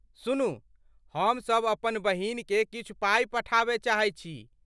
सुनू, हमसभ अपन बहिनकेँ किछु पाइ पठायब चाहैत छी।